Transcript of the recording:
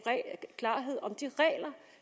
klarhed om de regler